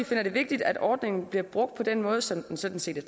finder det vigtigt at ordningen bliver brugt på den måde som den sådan set er